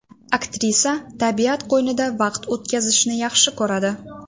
Aktrisa tabiat qo‘ynida vaqt o‘tkazishni yaxshi ko‘radi.